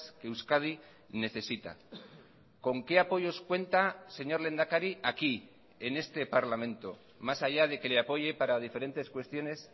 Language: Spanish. que euskadi necesita con qué apoyos cuenta señor lehendakari aquí en este parlamento más allá de que le apoye para diferentes cuestiones